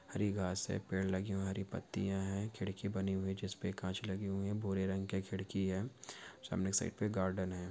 हरी घास हैं पेड़ लगे हुऐ हैं हरी पत्तियाँ हैं। खिड़की बनी हुई जिसपे कांच लगे हुऐ हैं भूरे रंग के खिड़की हैं सामने सिर्फ एक गार्डन है।